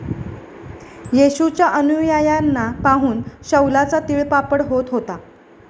येशूच्या अनुयायांना पाहून शौलाचा तीळपापड होत होता.